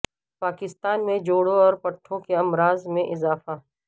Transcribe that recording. پاکستان میں جوڑوں اور پٹھوں کے امراض میں اضافہ